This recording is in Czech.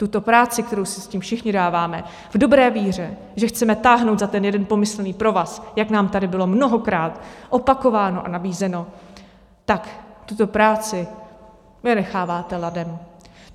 Tuto práci, kterou si s tím všichni dáváme v dobré víře, že chceme táhnout za ten jeden pomyslný provaz, jak nám tady bylo mnohokrát opakováno a nabízeno, tak tuto práci vy necháváte ladem.